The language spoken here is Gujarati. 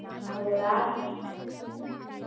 હેલો રાજ